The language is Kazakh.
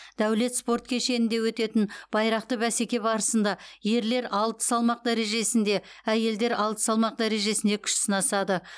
даулет спорт кешенінде өтетін байрақты бәсеке барысында ерлер алты салмақ дәрежесінже әйелдер алты салмақ дәрежесінде күш сынасады